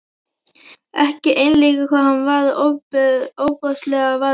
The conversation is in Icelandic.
Ekki einleikið hvað hann var ofboðslega var um sig.